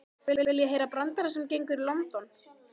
Viljiði heyra brandara sem gengur í London?